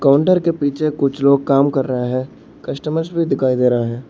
Shutter के पीछे कुछ लोग काम कर रहे है कस्टमर भी दिखाई दे रहे है।